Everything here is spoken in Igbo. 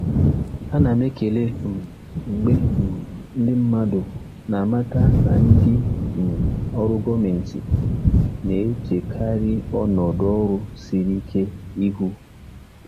Ana m ekele um mgbe um ndị mmadụ na-amata na ndị um ọrụ gọọmentị na-echekarị ọnọdụ ọrụ siri ike ihu.